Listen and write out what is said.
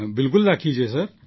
બિલકુલ રાખીએ છીએ સર